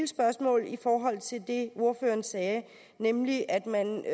spørgsmål til det ordføreren sagde nemlig at man